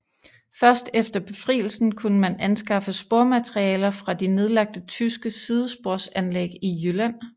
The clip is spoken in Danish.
Først efter befrielsen kunne man anskaffe spormaterialer fra de nedlagte tyske sidesporsanlæg i Jylland